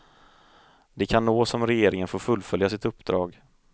Det kan nås om regeringen får fullfölja sitt uppdrag.